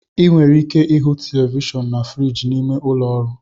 Ị nwere ike ịhụ Televishion na friji n'ime ụlọ ọrụ